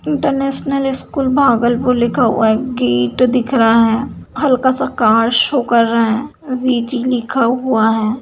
International school Bhagalpur लिखा हुआ है गेट दिख रहा है हल्का सा कार शो कर रहा है वि.जी. लिखा हुआ है।